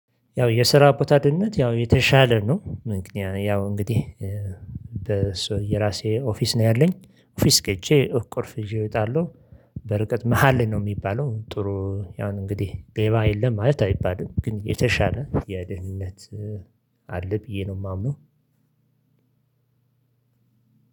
ያው የስራ ቦታ ድምጽ ያው የተሻለ ነው ምክንያቱም ያው እንግዲህ የራሴ ኦፊስ ነው ያለኝ ኦፊስ ገብቼ ቆልፍ ይዠ እወጣለሁ። በርቀት መሃል ነው የሚባለው ጥሩ ያው እንግዲህ ደባ የለም ማለት አይባልም ግን የተሻለ የደህንነት አለ ብዬ ነው የማምነው።